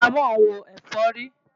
Parasítámọ̀ ń wo ẹ̀fọ́rí.